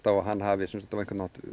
að hann hafi ekki